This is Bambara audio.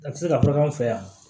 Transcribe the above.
A tɛ se ka bɔ an fɛ yan